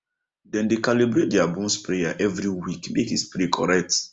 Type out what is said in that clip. dem dey calibrate deir boom sprayer every week make e spray correct